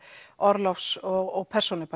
orlofs og